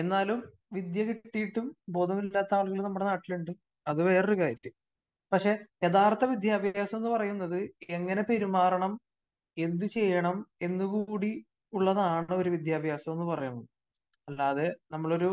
എന്നാലും വിദ്യ കിട്ടിയിട്ടും ബോധമില്ലാത്ത ആളുകള് നമ്മളുടെ നാട്ടിലുണ്ട്. അത് വേറെ ഒരു കാര്യം.പക്ഷേ യഥാർഥ വിദ്യാഭ്യാസം എന്ന് പറയുന്നത് എങ്ങനെ പെരുമാറണം എന്തു ചെയ്യണം എന്ന് കൂടി ഉള്ളതാണ് ഒരു വിദ്യാഭ്യാസം എന്ന് പറയുന്നത്.അല്ലാതെ നമ്മൾ ഒരു